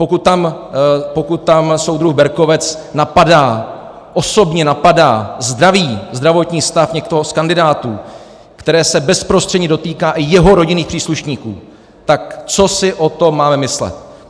Pokud tam soudruh Berkovec napadá, osobně napadá, zdraví, zdravotní stav, někoho z kandidátů, které se bezprostředně dotýká i jeho rodinných příslušníků, tak co si o tom máme myslet?